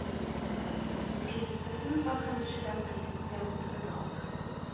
Skilsmissen var kanskje den prisen jeg måtte betale.